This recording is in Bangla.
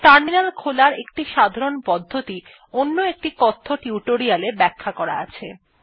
টার্মিনাল খোলার একটি সাধারণ পদ্ধতি অন্য একটি কথ্য টিউটোরিয়াল এ ব্যাখ্যা করা আছে